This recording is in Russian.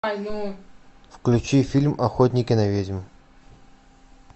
включи фильм охотники на ведьм